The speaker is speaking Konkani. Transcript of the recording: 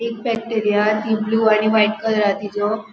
एक फॅक्टरी हा ती ब्लू आणि व्हाइट कलर हा तीजो.